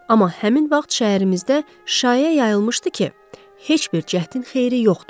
Amma həmin vaxt şəhərimizdə şaya yayılmışdı ki, heç bir cəhdin xeyri yoxdur.